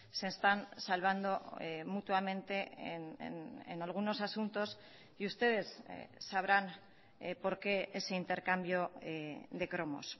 se están salvando mutuamente en algunos asuntos y ustedes sabrán por qué ese intercambio de cromos